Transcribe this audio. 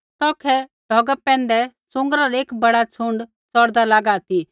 तौखै ढौगा पैंधै सूँगरा रा एक बड़ा छ़ुण्ड च़ौरदा लागा ती